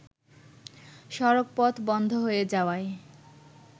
সড়কপথ বন্ধ হয়ে যাওয়ায়